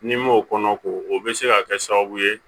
N'i m'o kɔnɔ k'o o bɛ se ka kɛ sababu ye